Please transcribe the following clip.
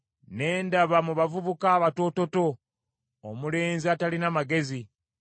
Ne ndaba mu bavubuka abatoototo, omulenzi atalina magezi,